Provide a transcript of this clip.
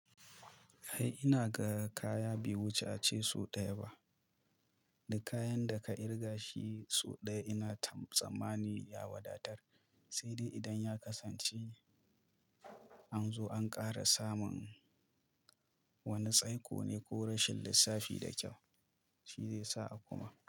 Ai ina ga kaya bai wuce a ci sau ɗaya ba, da kayan da ka kirga shi sau ɗaya ina tsammani ya wadatar, sai dai idan ya kasance an zo an ƙara samun wani tsaiko ne ko rashin lissafi da kyau shi zai sa a kuma.